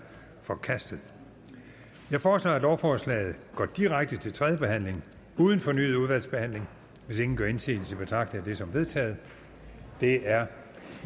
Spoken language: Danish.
forkastet jeg foreslår at lovforslaget går direkte til tredje behandling uden fornyet udvalgsbehandling hvis ingen gør indsigelse betragter jeg det som vedtaget det er